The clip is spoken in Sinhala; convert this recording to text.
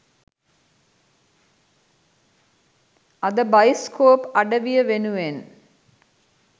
අද බයිස්කෝප් අඩවිය වෙනුවෙන්